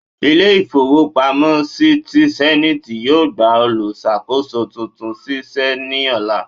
Ile ìfowo pamo si ti zenith, yọọ gba oluṣakoso túntún sí se ní olà